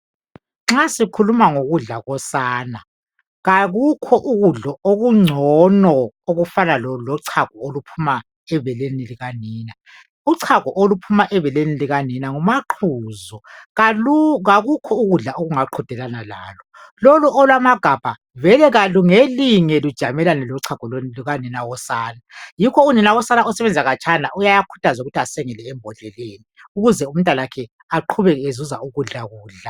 Nxa sikhuluma ngokudla kosana kakukho ukudla okuncgono okufana lochago oluphuma ebeleni likanina. Uchago uluphuma ebeleni likanina ngumaquzu. Kakukho ukudla okungaqedalana lalo. Lolu olwamagabha vele kalungelinge lujamelane lochago lukanina wosane. Yikho unina wosana osebenzela khatshana uyakhuthazwa ukuthi asengele ebhondleleni ukuze umntanakhe aqubeka ezuza ukudla kudla.